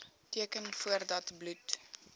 teken voordat bloed